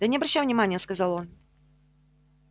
да не обращай внимание сказал он